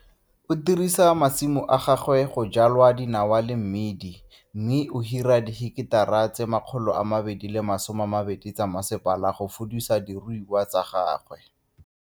O dirisa masimo a gagwe go jwala dinawa le mmidi mme o hira diheketara tse 220 tsa masepala go fudisa diruiwa tsa gagwe.